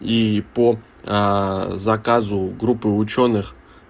и по заказу группы учёных